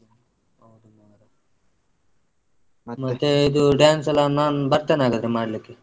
ಮತ್ತೇ ಇದು dance ಎಲ್ಲ ನಾನ್ ಬರ್ತೇನೆ ಹಾಗಾದ್ರೆ ಮಾಡ್ಲಿಕ್ಕೆ.